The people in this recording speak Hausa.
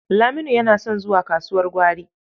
Laminu yana son zuwa kasuwar gwari.